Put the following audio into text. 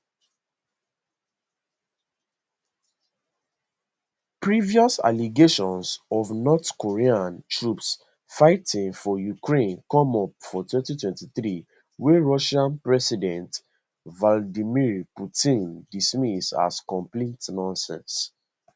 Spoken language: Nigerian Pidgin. previous allegations of north korean troops fighting for ukraine come up for 2023 wey russia president vladimir putin dismiss as complete nonsense